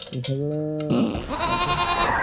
सगळ